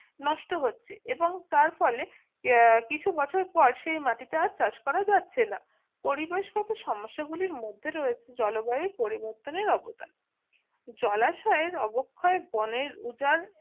নষ্ট হচ্ছে এবং তার ফলে কিছু বছর পর সেই মাটিটা চাষ করা যাচ্ছে না পরিবেশগত সমস্যা গুলির মধ্যে রয়েছে জলবায়ুর পরিবর্তনের অব দান জলাশয়ের অবক্ষয় বনের রোজা